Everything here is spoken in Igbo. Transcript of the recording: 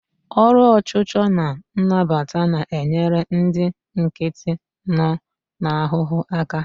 Ọrụ ọchụchọ na nnapụta na-enyere ndị nkịtị nọ n'ahụhụ aka.